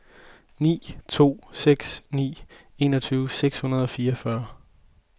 ni to seks ni enogtyve seks hundrede og fireogfyrre